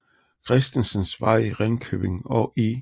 Christensens Vej i Ringkøbing og I